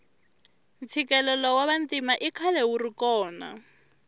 ntshikelelo wa vantima ikhale wuri kona